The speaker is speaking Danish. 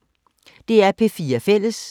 DR P4 Fælles